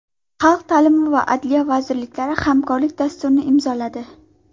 Xalq ta’limi va Adliya vazirliklari hamkorlik dasturini imzoladi.